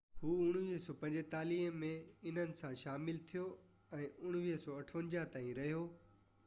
هو 1945 ۾ انهن سان شامل ٿيو ۽ 1958 تائين رهيو